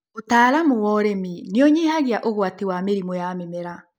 ũtaalamu wa ũrĩmi nĩũnyihagia ũgwati wa mĩrimũ ya mĩmera.